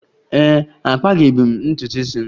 Ee e, akpabeghi m ntutu isi m.